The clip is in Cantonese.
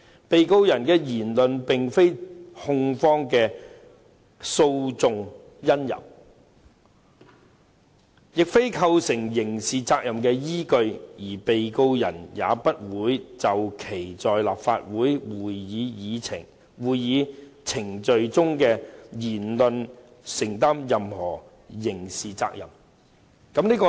被告人的言論並非控方的訴訟因由，亦非構成刑事責任的依據，而被告人也不會就其在立法會會議程序中的言論承擔任何刑事責任。